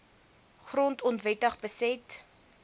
grond onwettig beset